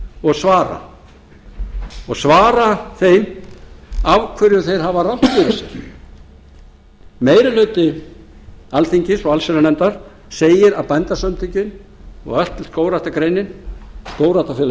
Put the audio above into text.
og svara og svara þeim af hverju þeir hafa rangt fyrir sér meiri hluti alþingis og allsherjarnefndar segir að bændasamtökin og öll skógræktargreinin skógræktarfélag